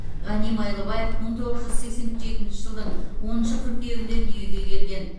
ғани майлыбаев мың тоғыз жүз сексен жетінші жылдың оныншы қыркүйегінде дүниеге келген